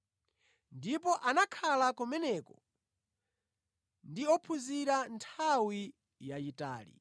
Ndipo anakhala kumeneko ndi ophunzira nthawi yayitali.